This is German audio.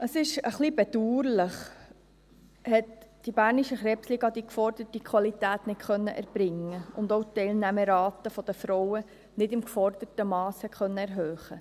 Es ist ein wenig bedauerlich, konnte die Krebsliga Bern die geforderte Qualität nicht erbringen und auch die Teilnahmerate der Frauen nicht im geforderten Mass erhöhen.